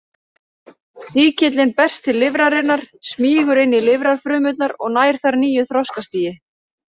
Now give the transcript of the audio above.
Sýkillinn berst til lifrarinnar, smýgur inn í lifrarfrumurnar og nær þar nýju þroskastigi.